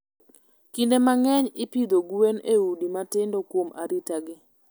Kinde mang'eny, ipidho gwen e udi matindo kuom arita gi.